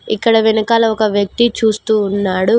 ఇక్కడ వెనకాల ఒక వ్యక్తి చూస్తూ ఉన్నాడు.